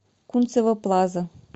кунцево плаза